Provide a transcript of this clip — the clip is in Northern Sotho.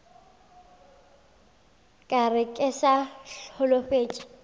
ka re ke sa holofetše